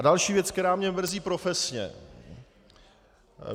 A další věc, která mě mrzí profesně.